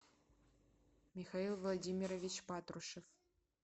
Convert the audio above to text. михаил владимирович патрушев